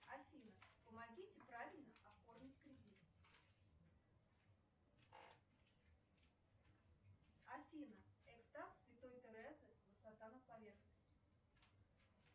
афина помогите правильно оформить кредит афина экстаз святой терезы высота над поверхностью